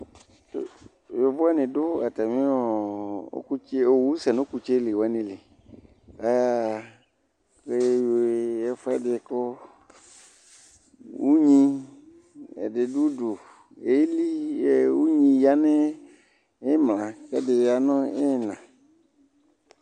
yovo ni do atami ɔkutsɛ owu sɛ n'ɔkutsɛ li wani li aya ɣa k'ewi ɛfu ɛdi kò unyi ɛdi do udu eli unyi ya n'imla k'ɛdi ya no ina